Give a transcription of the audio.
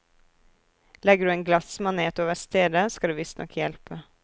Legger du en glassmanet over stedet, skal det visstnok hjelpe.